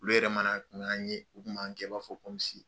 Olu yɛrɛ mana kun y'an ye , u kun b'an kɛ i b'a fɔ .